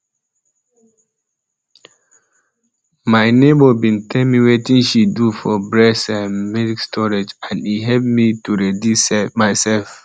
my neighbour bin tell me wetin she do for breast ehm milk storage and e hep to ready myself